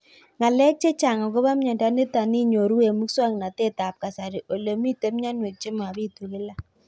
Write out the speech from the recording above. Ng'alek chechang' akopo miondo nitok inyoru eng' muswog'natet ab kasari ole mito mianwek che mapitu kila